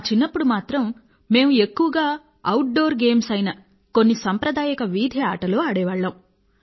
మా చిన్నప్పుడు మాత్రం మేము ఎక్కువగా అవుట్ డోర్ గేమ్స్ అయిన కొన్ని సంప్రదాయక వీధి ఆటలు ఆడేవాళ్లము